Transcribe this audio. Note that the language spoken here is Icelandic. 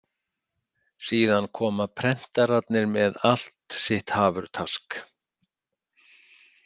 Síðan koma prentararnir með allt sitt hafurtask.